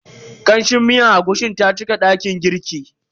Kamshin miyar agushin ta cika dakin girkin.